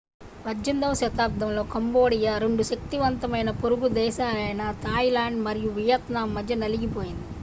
18వ శతాబ్దంలో కంబోడియా రెండు శక్తివంతమైన పొరుగు దేశాలైన థాయిలాండ్ మరియు వియత్నాం మధ్య నలిగిపోయింది